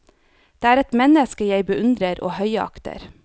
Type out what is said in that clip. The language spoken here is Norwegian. Det er et menneske jeg beundrer og høyakter.